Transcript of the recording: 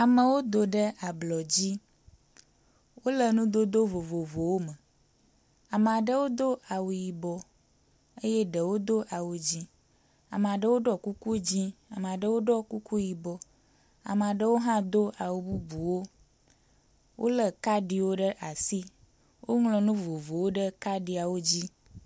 Ameawo do ɖe ablɔdzi wóle nudodó vovovowo me , ameaɖewo do awu yibɔ eye ɖewo dó awu dzĩ ,ameaɖewo ɖɔ kuku dzĩ ameaɖewo Dɔ kuku yibɔ ameaɖewo hã dó awu bubuwo wóle kadiwo ɖe asi woŋlɔ nu vovovowo ɖe kadiawo dzi